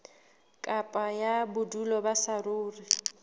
kopo ya bodulo ba saruri